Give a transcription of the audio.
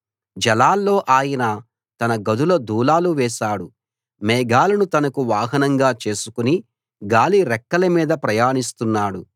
జలాల్లో ఆయన తన గదుల దూలాలు వేశాడు మేఘాలను తనకు వాహనంగా చేసుకుని గాలి రెక్కలమీద ప్రయాణిస్తున్నాడు